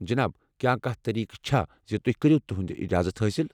جناب، کیٛاہ کانٛہہ طریقہٕ چھا زِ تُہۍ کٔرِو تِہنٛد اجازت حٲصل؟